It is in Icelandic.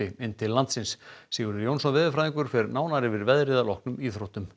inn til landsins Sigurður Jónsson veðurfræðingur fer nánar yfir veðrið að loknum íþróttum